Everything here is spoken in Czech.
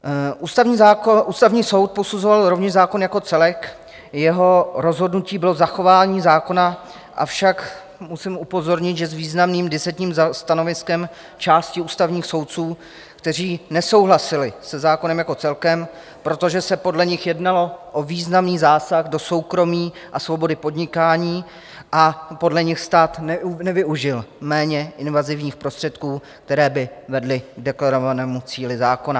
Ústavní soud posuzoval rovněž zákon jako celek, jeho rozhodnutí bylo zachování zákona, avšak musím upozornit, že s významným disentním stanoviskem části ústavních soudců, kteří nesouhlasili se zákonem jako celkem, protože se podle nich jednalo o významný zásah do soukromí a svobody podnikání a podle nich stát nevyužil méně invazivních prostředků, které by vedly k deklarovanému cíli zákona.